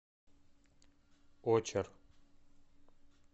очер